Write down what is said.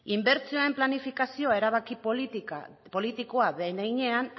inbertsio planifikazio erabaki politikoa den heinean